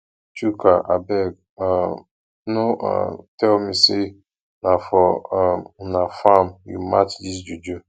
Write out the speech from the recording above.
chuka abeg um no um tell me say na for um una farm you match dis juju